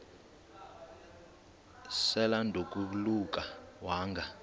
sel edanduluka wanga